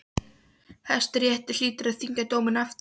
Hæstiréttur hlýtur að þyngja dóminn aftur.